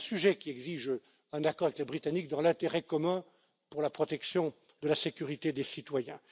de sujets qui exigent un accord avec les Britanniques dans l'intérêt commun, pour la protection de la sécurité des citoyens.